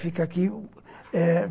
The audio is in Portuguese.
Fica aqui, eh...